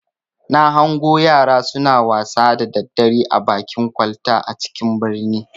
Na hango yara suna wasa da daddare a bakin kwalta a cikin birnin.